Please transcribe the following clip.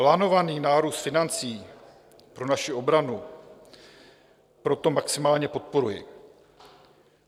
Plánovaný nárůst financí pro naši obranu proto maximálně podporuji.